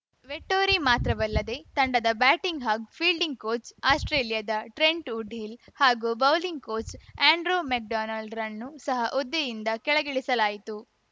Vettori ಮಾತ್ರವಲ್ಲದೆ ತಂಡದ batting ಹಾಗೂ ಫೀಲ್ಡಿಂಗ್‌ ಕೋಚ್‌ ಆಸ್ಪ್ರೇಲಿಯಾದ ಟ್ರೆಂಟ್‌ ವುಡ್‌ಹಿಲ್‌ ಹಾಗೂ ಬೌಲಿಂಗ್‌ ಕೋಚ್‌ ಆ್ಯಂಡ್ರೂ ಮೆಕ್‌ಡೊನಾಲ್ಡ್‌ರನ್ನೂ ಸಹ ಹುದ್ದೆಯಿಂದ ಕೆಳಗಿಳಿಸಲಾಯಿತು